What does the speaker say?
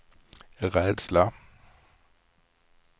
rädsla